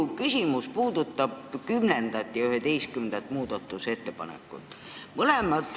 Minu küsimus puudutab 10. ja 11. muudatusettepanekut.